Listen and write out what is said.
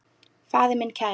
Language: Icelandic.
Faðir minn kær.